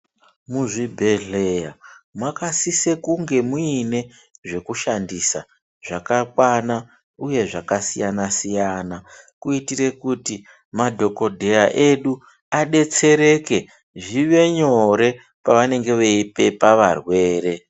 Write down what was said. Mu zvibhedhleya makasisa kunge muine zveku shandisa zvaka kwana uye zvaka siyana siyana kuitire kuti madhokodheya edu adetsereke zvive nyore pa vanenge vei pepa varwere.